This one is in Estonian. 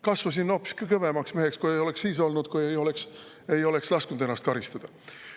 Kasvasin hoopiski kõvemaks meheks, kui ei oleks siis olnud, kui ei oleks lasknud ennast karistada.